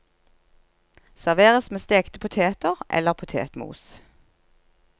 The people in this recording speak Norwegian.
Serveres med stekte poteter eller potetmos.